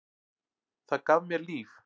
Það gaf mér líf.